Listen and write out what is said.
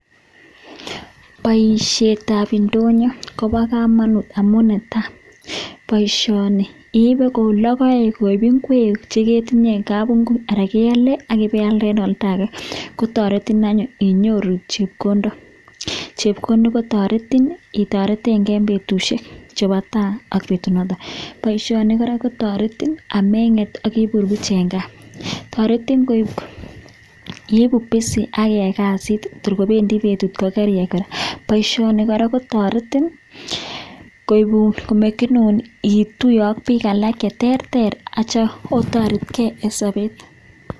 Baishet ab indonyo Koba kamanut amun netai baishonibibe koublogoek akbigeek cheketinye en kabinguit Ara geyale akiyalde en oldage akotaretin anyun inyoru chepkondok akotaretin itaretenbgei en betushek Cheba tai ak butunotet baishoni koraa kotaretin amenget agibur Buch en gaa tareti iiku busy akiyai kasit en betut kokoriyai koraa baishoni koraa korktaretin koibun anan komekenun ituye ak bik alak cheterter.